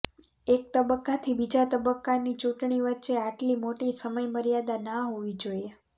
એક તબક્કાથી બીજા તબક્કાની ચૂંટણી વચ્ચે આટલી મોટી સમય મર્યાદા ના હોવી જોઈએ